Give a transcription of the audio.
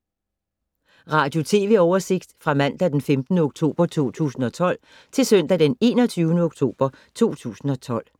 Radio/TV oversigt fra mandag d. 15. oktober 2012 til søndag d. 21. oktober 2012